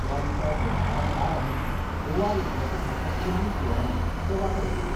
त्या दिसा दनपरां बारांक गोवा विद्यापीठाच्या पदवी सुवाळ्यात ते वांटो घेतले.